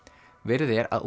verið er að